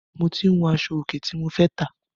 Mo tí ń wun aṣọ òkè tí mo fẹ́ tà.